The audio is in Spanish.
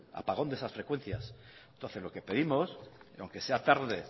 apagón de esas frecuencias entonces lo que pedimos aunque sea tarde